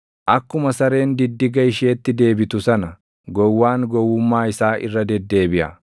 Akkuma sareen diddiga isheetti deebitu sana, gowwaan gowwummaa isaa irra deddeebiʼa.